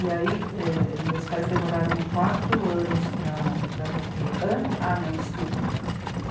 E aí ãh meus pais demoraram quatro anos para para me ter... ant... Ah, não, desculpe.